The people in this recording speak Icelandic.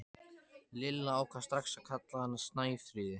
Lilla ákvað strax að kalla hana Snæfríði.